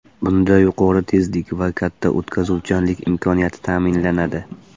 Bunda yuqori tezlik va katta o‘tkazuvchanlik imkoniyati ta’minlanadi.